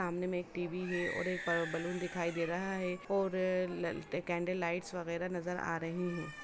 सामने में एक टी.वी. है और एक बलुन दिखाई दे रहा है और ल कैंडल लाइट्स वगेरा नजर आ रहीं हैं।